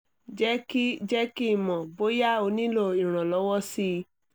jẹ́ kí jẹ́ kí n mọ̀ bóyá o nílò ìrànlọ́wọ́ sí i